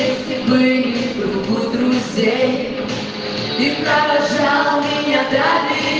ну это было друзей и карран и отдали